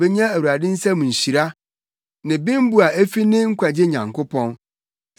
Obenya Awurade nsam nhyira ne bembu a efi ne Nkwagye Nyankopɔn.